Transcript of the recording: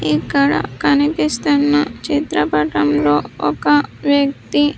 ఇక్కడ కనిపిస్తున్న చిత్రపటంలో ఒక వ్యక్తి.